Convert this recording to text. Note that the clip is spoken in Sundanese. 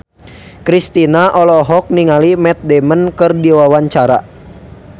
Kristina olohok ningali Matt Damon keur diwawancara